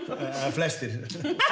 flestir